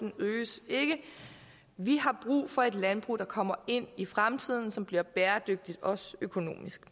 øges ikke vi har brug for et landbrug der kommer ind i fremtiden og som bliver bæredygtigt også økonomisk